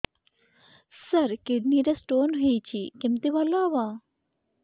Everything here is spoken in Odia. ସାର କିଡ଼ନୀ ରେ ସ୍ଟୋନ୍ ହେଇଛି କମିତି ଭଲ ହେବ